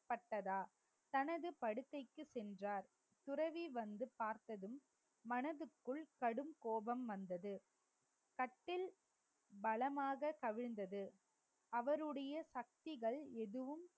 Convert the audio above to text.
தனது படுக்கைக்கு சென்றார் துறவி வந்து பார்த்ததும் மனதுக்குள் கடும் கோபம் வந்தது கட்டில் பலமாக கவிழ்ந்தது அவருடைய சக்திகள் எதுவும்